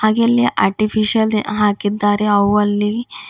ಇಲ್ಲಿ ಆರ್ಟಿಫಿಷಿಯಲ್ ಹಾಕಿದ್ದಾರೆ ಆ ಹೂವಲ್ಲಿ--